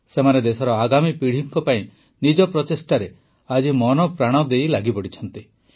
ସେମାନେ ଦେଶର ଆଗାମୀ ପିଢ଼ିମାନଙ୍କ ପାଇଁ ନିଜର ପ୍ରଚେଷ୍ଟାରେ ଆଜି ମନପ୍ରାଣ ଦେଇ ଲାଗିଛନ୍ତି